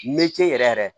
yɛrɛ yɛrɛ